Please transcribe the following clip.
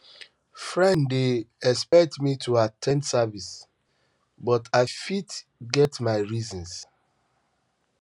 friends um dey um expect me to at ten d service but i fit i fit get my reasons